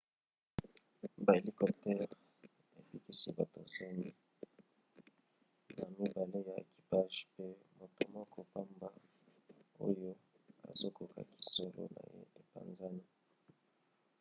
bahélicoptèrese ebikisi bato zomi na mibale ya ekipage pe moto moko pamba oyo azokaki zolo na ye epanzani